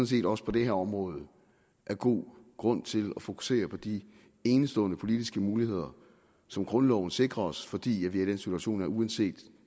set også på det her område er god grund til at fokusere på de enestående politiske muligheder som grundloven sikrer os fordi vi er i den situation at uanset